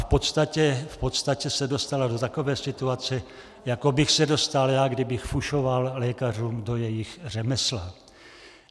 V podstatě se dostala do takové situace, jako bych se dostal já, kdybych fušoval lékařům do jejich řemesla.